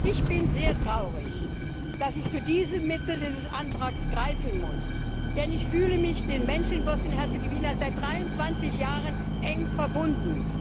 Ich bin sehr traurig, dass ich zu dem Mittel dieses Antrags greifen muss, denn ich fühle mich den Menschen in Bosnien und Herzegowina seit 23 Jahren eng verbunden.